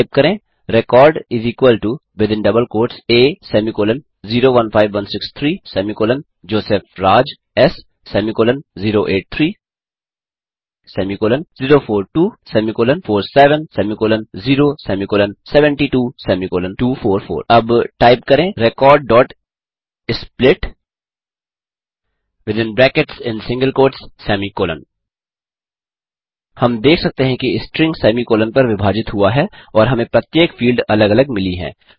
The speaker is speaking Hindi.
टाइप करें रेकॉर्ड a015163जोसेफ राज एस08304247072244 अब टाइप करें recordsplit हम देख सकते हैं कि स्ट्रिंग सेमी कॉलन पर विभाजित हुआ है और हमें प्रत्येक फील्ड अलग अलग मिली है